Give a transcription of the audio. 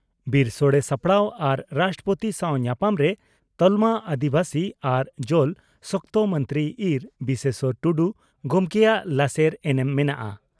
ᱵᱤᱨᱥᱚᱲᱮ ᱥᱟᱯᱲᱟᱣ ᱟᱨ ᱨᱟᱥᱴᱨᱚᱯᱳᱛᱤ ᱥᱟᱣ ᱧᱟᱯᱟᱢ ᱨᱮ ᱛᱟᱞᱢᱟ ᱟᱹᱫᱤᱵᱟᱹᱥᱤ ᱟᱨ ᱡᱚᱞ ᱥᱚᱠᱛᱚ ᱢᱚᱱᱛᱨᱤ ᱤᱸᱨ ᱵᱤᱥᱮᱥᱚᱨ ᱴᱩᱰᱩ ᱜᱚᱢᱠᱮᱭᱟᱜ ᱞᱟᱥᱮᱨ ᱮᱱᱮᱢ ᱢᱮᱱᱟᱜᱼᱟ ᱾